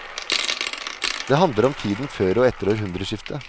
Det handler om tiden før og etter århundreskiftet.